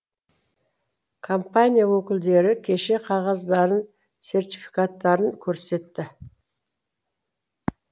компания өкілдері кеше қағаздарын сертификаттарын көрсетті